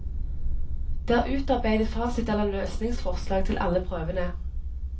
Det er utarbeidet fasit eller løsningsforslag til alle prøvene.